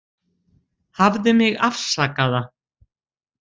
Hafðu mig afsakaða